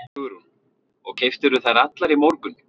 Hugrún: Og keyptirðu þær allar í morgun?